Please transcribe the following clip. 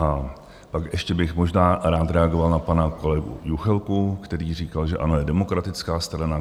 A pak ještě bych možná rád reagoval na pana kolegu Juchelku, který říkal, že ANO je demokratická strana.